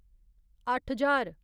अट्ठ ज्हार